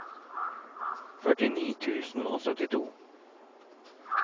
førtini tusen og syttito